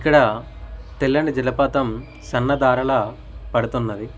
ఇక్కడ తెల్లని జలపాతం సన్నదారలా పడుతున్నది.